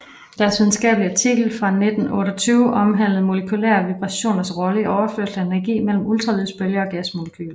Deres videnskabelige artikel fra 1928 omhandlede molekylære vibrationers rolle i overførsel af energi mellem ultralydsbølger og gasmolekyler